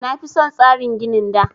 Na fi son tsarin ginin da